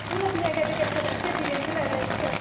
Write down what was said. Bura Binəqədi qəsəbəsi birinci mədən küçəsidir.